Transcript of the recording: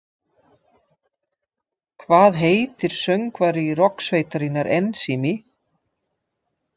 Hvað heitir söngvari rokksveitarinnar Ensími?